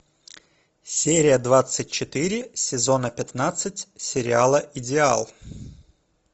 серия двадцать четыре сезона пятнадцать сериала идеал